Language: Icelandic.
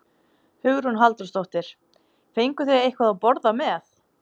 Hugrún Halldórsdóttir: Fenguð þið eitthvað að borða með?